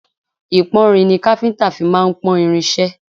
Ìpọ́nrin ni káfíńńtà fí máà ń pọ́n irin iṣẹ́.